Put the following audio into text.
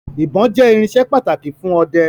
Ìbon jẹ́ irinsẹ́ pàtàkì fún ọdẹ